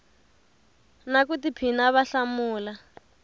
na ku tiphina va hlamula